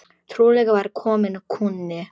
Trúlega var kominn kúnni.